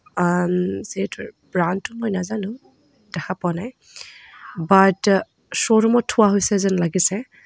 আন ব্ৰাণ্ডটো মই নাজানো দেখা পোৱা নাই বাট শ্ব'ৰুমত থোৱা হৈছে যেন লাগিছে।